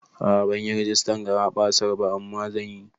A'a banyi rigistan garaɓasar ba, amma zan yi